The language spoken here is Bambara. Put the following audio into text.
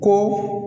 Kɔ